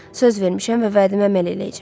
Söz vermişəm və vədimə əməl eləyəcəm.